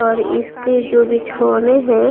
और इसके जो बिछौने हैं।